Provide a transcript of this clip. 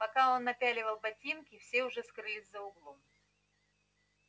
пока он напяливал ботинки все уже скрылись за углом